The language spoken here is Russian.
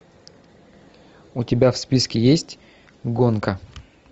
у тебя в списке есть гонка